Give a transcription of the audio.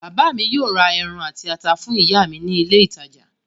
Bàbá mi yóò ra ẹran àti ata fún ìyá mi ní ilé-ìtajà.